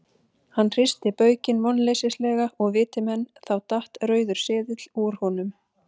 Hann hristi baukinn vonleysislega og viti menn, þá datt rauður seðill úr honum.